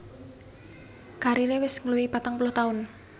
Kariré wis ngluwihi patang puluh taun